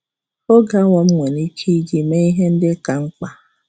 Oge awa m nwere ike iji mee ihe ndị ka mkpa